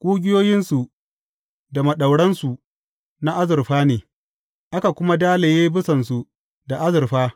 Ƙugiyoyinsu da maɗauransu na azurfa ne, aka kuma dalaye bisansu da azurfa.